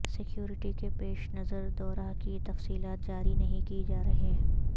security کے پیش نظر دورہ کی تفصیلات جاری نہیں کی جا رہیں